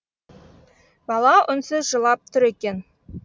бала үнсіз жылап тұр екен